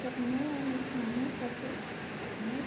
এই দোকানেও অনেক মানুষ আছে।